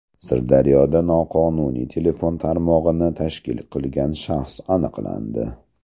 Sirdaryoda noqonuniy telefon tarmog‘ini tashkil qilgan shaxs aniqlandi.